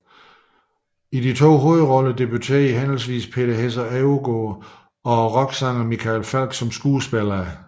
I de to hovedroller debuterede henholdsvis Peter Hesse Overgaard og rocksangeren Michael Falch som skuespillere